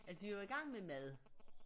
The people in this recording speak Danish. Altså vi var i gang med mad